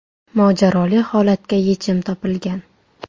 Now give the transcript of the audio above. Mojaroli holatga yechim topilgan.